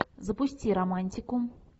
запусти романтику